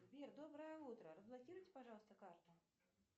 сбер доброе утро разблокируйте пожалуйста карту